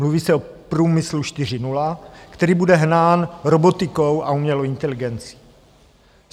Mluví se o Průmyslu 4.0, který bude hnán robotikou a umělou inteligencí.